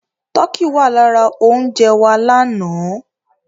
Tọkí wà lára oúnjẹ wa lánàá.